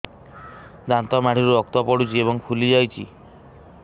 ଦାନ୍ତ ମାଢ଼ିରୁ ରକ୍ତ ପଡୁଛୁ ଏବଂ ଫୁଲି ଯାଇଛି